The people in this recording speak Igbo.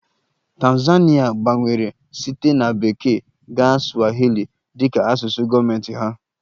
Tanzania gbanwere site na Bekee gaa swahili dị ka asụsụ gọọmentị ha